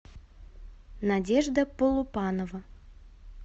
надежда полупанова